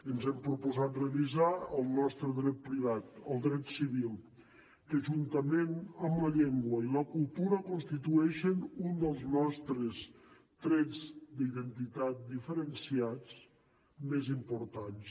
ens hem proposat revisar el nostre dret privat el dret civil que juntament amb la llengua i la cultura constitueix un dels nostres trets d’identitat diferenciats més importants